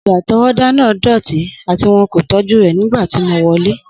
Odò-àtọwọ́dá náà dọti ati won ko ti tọju nígbà rẹ ti mo wọlẹ́.